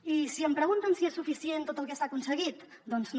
i si em pregunten si és suficient tot el que s’ha aconseguit doncs no